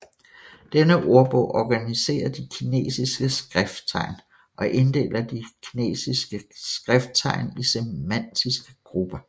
Denne ordbog organiserer de kinesiske skrifttegn og inddeler de kinesiske skrifttegn i semantiske grupper